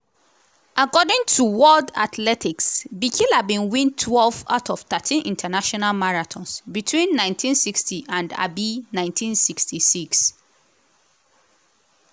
according to world athletics bikila bin win twelve out of thirteen international marathons between 1960 and um 1966.